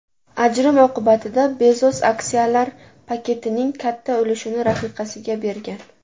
Ajrim oqibatida Bezos aksiyalar paketining katta ulushini rafiqasiga bergan.